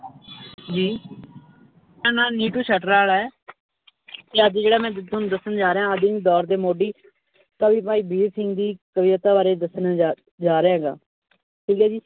ਜੀ ਮੇਰਾ ਨਾਂ ਨਿਟੂ ਹੈ ਤੇ ਅੱਜ ਜਿਹੜਾ ਮੈਂ ਤੁਹਾਨੂੰ ਦੱਸਣ ਜਾ ਰਿਹਾਂ ਆਧੁਨਿਕ ਦੌਰ ਦੇ ਮੌਢੀ ਕਵੀ ਭਾਈ ਵੀਰ ਸਿੰਘ ਦੀ ਕਵਿਤਾ ਬਾਰੇ ਦੱਸਣ ਜਾ ਜਾ ਰਿਹਾ ਹੈਗਾ ਠੀਕ ਹੈ ਜੀ।